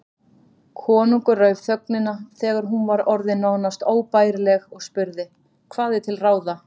Konungur rauf þögnina þegar hún var orðin nánast óbærileg og spurði:-Hvað er til ráða?